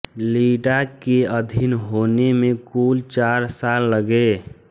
लिडा के अधीन होने में कुल चार साल लगे